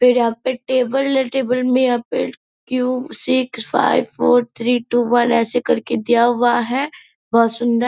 पे यहाँ पे टेबल है टेबल में यहाँ पे two six five four three two one ऐसे करके दिया हुआ है बहुत सुंदर।